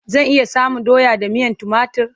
Zan iya samun doya da miyan timatur?